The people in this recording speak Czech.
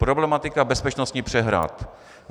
Problematika bezpečnosti přehrad.